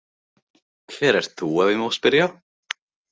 Hver ert þú ef ég má spyrja?